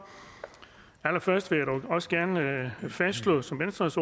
allerførst vil jeg dog også gerne fastslå som venstres